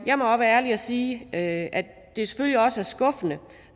jeg må være ærlig og sige at det selvfølgelig også er skuffende